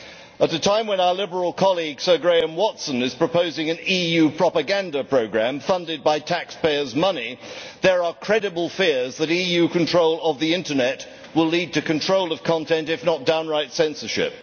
At a time when our Liberal colleague Sir Graham Watson is proposing an EU propaganda programme funded by taxpayers' money, there are credible fears that EU control of the Internet will lead to control of content, if not downright censorship.